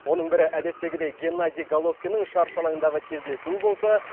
оның бірі әдеттегідей геннадий головкиннің шаршы алаңдағы кездесуі болса